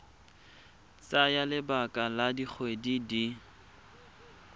tsaya lebaka la dikgwedi di